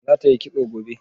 Za ta yi kitso gobe?